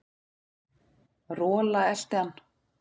Rola elti hann.